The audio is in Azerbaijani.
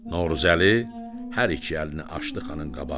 Novruzəli hər iki əlini açdı xanın qabağına.